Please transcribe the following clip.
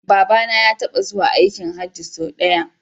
Babana ya taba zuwa aikin Hajji sau daya